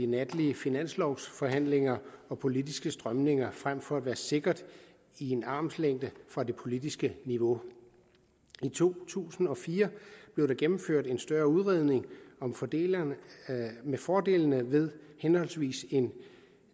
natlige finanslovforhandlinger og politiske strømninger frem for at være sikret i en armslængde fra det politiske niveau i to tusind og fire blev der gennemført en større udredning om fordelene fordelene ved henholdsvis et